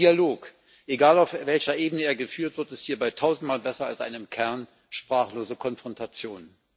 Der Dialog egal auf welcher Ebene er geführt wird ist hierbei tausendmal besser als eine im Kern sprachlose Konfrontation.